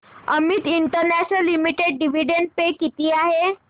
Amit international limited dividend pay किती आहे